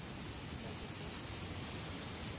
total force acting